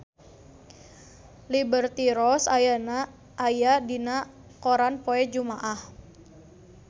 Liberty Ross aya dina koran poe Jumaah